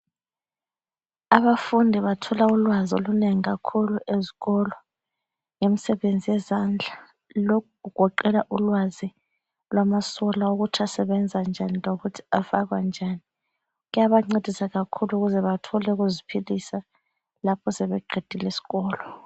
Abafundi bathola ulwazi olunengi kakhulu ezikolo emsebenzi yezandla lokhu kugoqela ulwazi lwamasola ukuthi asebenza njani lokuthi afakwa njani, kuyabancedisa kakhulu ukuze bathole okokuziphilisa lapho sebeqile isikolo.